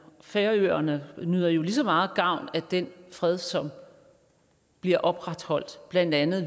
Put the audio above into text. færøerne nyder jo lige så meget gavn af den fred som bliver opretholdt blandt andet